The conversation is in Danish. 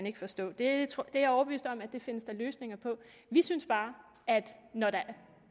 ikke forstå det er jeg overbevist om der findes løsninger på vi synes bare at når der